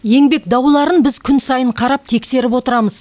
еңбек дауларын біз күн сайын қарап тексеріп отырамыз